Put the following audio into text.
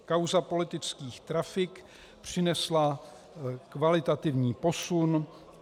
Kauza politických trafik přinesla kvalitativní posun.